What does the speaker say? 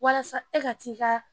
Walasa e ka t'i ka